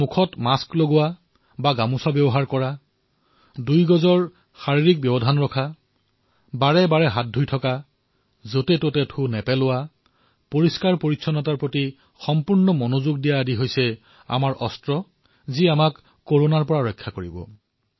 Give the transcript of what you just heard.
মুখত মাস্ক লগোৱা অথবা গামোচাৰ ব্যৱহাৰ কৰা দুই গজৰ দূৰত্ব মানি চলা নিৰন্তৰে হাত ধোৱা কেতিয়াও কতো থু নেপেলোৱা পৰিষ্কাৰপৰিচ্ছন্নতাৰ প্ৰতি লক্ষ্য ৰখাএয়াই আমাৰ হাতিয়াৰ যিয়ে আমাক কৰোনাৰ পৰা ৰক্ষা কৰিব পাৰে